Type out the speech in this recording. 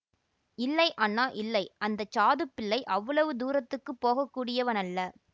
இல்லை அண்ணா இல்லை அந்த சாதுப்பிள்ளை அவ்வளவு தூரத்துக்குப் போக கூடியவனல்ல